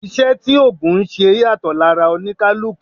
Iṣẹ́ tí ògùn ńṣe yàtọ̀ lára oníkálukú